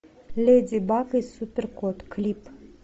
леди баг и супер кот клип